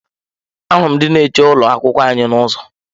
Ahụrụ m ndị nche ụlọ akwụkwọ anyị n'ụzọ.